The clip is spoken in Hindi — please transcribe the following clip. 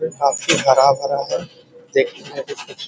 ये काफी हरा भरा है | देखने में भी कुछ